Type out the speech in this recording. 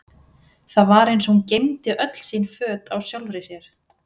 Það var eins og hún geymdi öll sín föt á sjálfri sér.